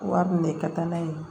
Wari minɛ ka taa n'a ye